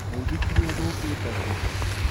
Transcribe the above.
Muithikiri ũthũkĩte kũ?